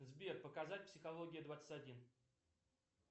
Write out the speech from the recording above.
сбер показать психология двадцать один